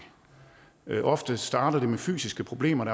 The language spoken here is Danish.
ofte starter det med fysiske problemer